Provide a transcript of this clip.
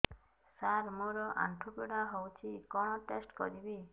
ସାର ମୋର ଆଣ୍ଠୁ ପୀଡା ହଉଚି କଣ ଟେଷ୍ଟ କରିବି